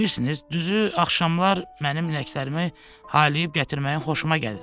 Bilirsiniz, düzü, axşamlar mənim ləklərimi haylayıb gətirməyi xoşuma gəlir.